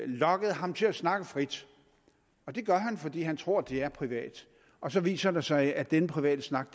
lokket ham til at snakke frit det gør han fordi han tror det er privat og så viser det sig at denne private snak